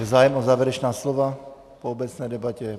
Je zájem o závěrečná slova po obecné debatě?